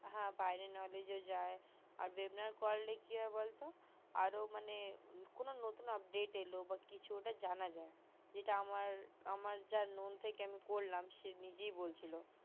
হা বাইরের knowledge যায় আর webinar করলে কি হয় বলতো বা কারো মানে নতুন update এল বা কিছু তো ওটা জানা যাই যেটা আমার আমার যে লং থেকে আমি করলাম সে নিজেই বলছিলো